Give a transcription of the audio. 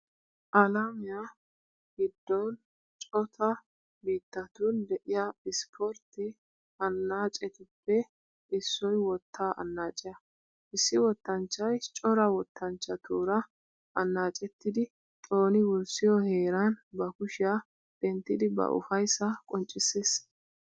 Alamiua giddon cota biittatun de'iya ispportte annaacetuppe issoy wottaa annaaciya. Issi wottanchchay cora wottanchchatuura annaacettidi xooni wurssiyo heeran ba kushiya denttidi ba ufayssaa qonccissees.